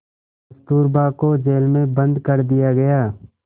कस्तूरबा को जेल में बंद कर दिया गया